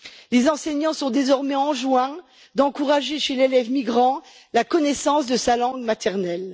Les enseignants sont désormais enjoints d'encourager chez l'élève migrant la connaissance de sa langue maternelle.